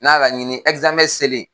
N'a laɲini selen.